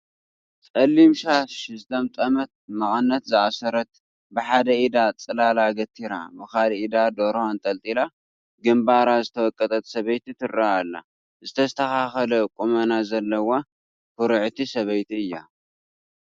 ፀሊም ሻሽ ዝጠምጠመት፣ መቐነት ዝኣሰረት፣ ብሓደ ኢዳ ፅላል ገቲራ ብኻልእ ኢዳ ደርሆ ኣንጠልጢላ ግምባራ ዝተወቀጠት ሰበይቲ ትርአ ኣላ፡፡ ዝተስተኻኸለ ቁመና ዘለዋ ኩርዕቲ ሰበይቲ እያ፡፡